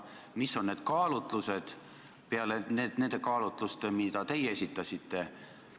Millised on teised kaalutlused peale nende kaalutluste, mis teie esitasite?